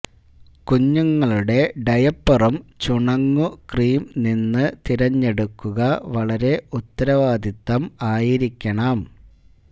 കുഞ്ഞുങ്ങളുടെ ഡയപ്പറും ചുണങ്ങു ക്രീം നിന്ന് തിരഞ്ഞെടുക്കുക വളരെ ഉത്തരവാദിത്വം ആയിരിക്കണം